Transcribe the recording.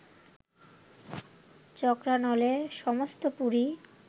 চক্রানলে সমস্ত পুরী